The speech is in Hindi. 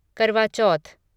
करवा चौथ